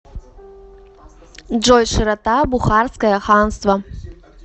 джой широта бухарское ханство